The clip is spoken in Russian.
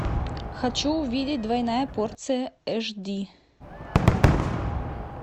хочу увидеть двойная порция эш ди